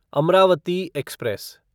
Amravati express